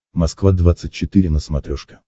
москва двадцать четыре на смотрешке